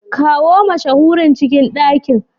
Kawo mashahurin cikin ɗakin.